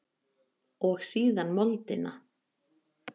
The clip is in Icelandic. Og síðan moldina.